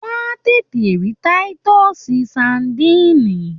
Wọ́n á tètè rí táítọ́ọ̀sì sadíìnì